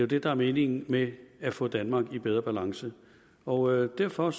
det der er meningen med at få danmark i bedre balance og derfor